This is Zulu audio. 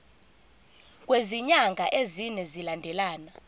kwezinyanga ezine zilandelana